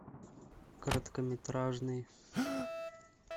короткометражный